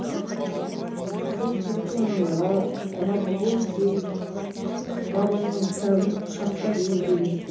сол кезде мен рабғузи бабамның кітабын құшақтап елге кеттім